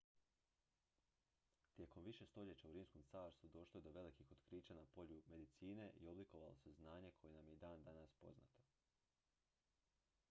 tijekom više stoljeća u rimskom carstvu došlo je do velikih otkrića na polju medicine i oblikovalo se znanje koje nam je i dan danas poznato